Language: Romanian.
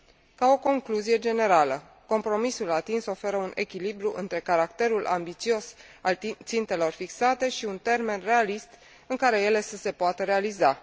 Ca o concluzie generală, compromisul atins oferă un echilibru între caracterul ambițios al țintelor fixate și un termen realist, în care ele să se poată realiza.